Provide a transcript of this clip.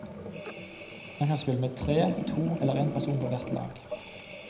Man kan spille med tre, to eller en person på hvert lag.